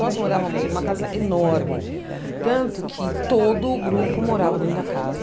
Nós morávamos em uma casa enorme, tanto que todo o grupo morava dentro da casa.